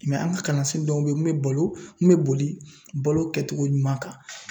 Mɛ an ka kalansen dɔw be yen mun bɛ bɔlo mun bɛ boli balo kɛcogo ɲuman kan .